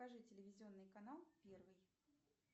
покажи телевизионный канал первый